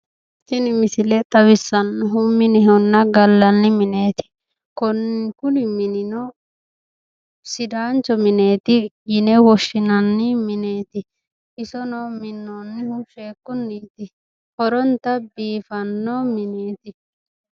tini misile xawissannohu minehonna gallanni mineeti, kone kuni minino sidaancho mineti yine woshshsinanni mineeti isono minoonnihu sheekunniti, horonta biifanno mineeti.